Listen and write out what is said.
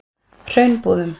Hraunbúðum